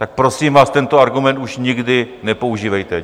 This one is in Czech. Tak prosím vás, tento argument už nikdy nepoužívejte.